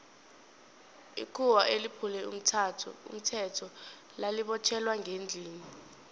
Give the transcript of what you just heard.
ikhuwa eliphule umthetho lali botjhelwa ngendlini